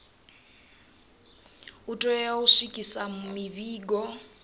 u tea u swikisa mivhigo